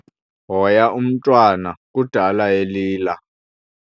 Hoya umntwana kudala elila.